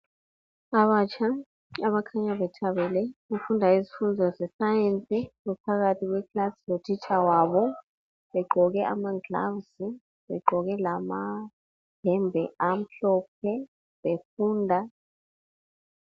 abatsha abakhanya bethabele ukufunda izifundo ze science baphakathi kwe class lotitsha wabo begqoke amagloves begqoke lama yembe amhlophe befunda